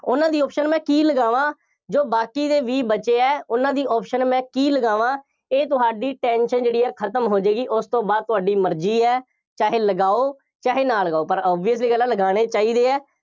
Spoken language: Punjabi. ਉਹਨਾ ਦੀ option ਮੈਂ ਕੀ ਲਗਾਵਾਂ, ਜੋ ਬਾਕੀ ਦੇ ਵੀਹ ਬਚੇ ਆ, ਉਹਨਾ ਦੀ option ਮੈਂ ਕੀ ਲਗਾਵਾਂ, ਇਹ ਤੁਹਾਡੀ tension ਜਿਹੜੀ ਹੈ ਉਹ ਖਤਮ ਹੋ ਜਾਏਗੀ, ਉਸ ਤੋਂ ਬਾਅਦ ਤੁਹਾਡੀ ਮਰਜ਼ੀ ਹੈ, ਚਾਹੇ ਲਗਾਓ, ਚਾਹੇ ਨਾ ਲਗਾਓ, ਪਰ obvious ਜਿਹੀ ਗੱਲ ਹੈ, ਲਗਾਉਣੇ ਚਾਹੀਦੇ ਆ।